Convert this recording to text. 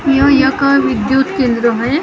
या या का विद्युत केंद्र है यहा पर --